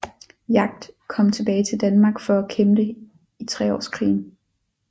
Jagd kom tilbage til Danmark for at kæmpe i treårskrigen